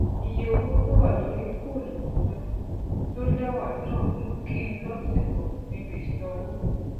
ìye owó tó wà lórí fọọnù tuntun tó lẹwàa náà mú kí n ló tìkò níbi ìsanwó